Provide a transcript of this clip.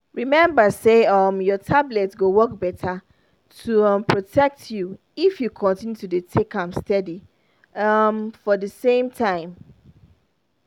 remember say um your tablet go work better to um protect you if you continue to dey take am steady um for the same time.